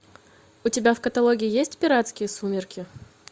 у тебя в каталоге есть пиратские сумерки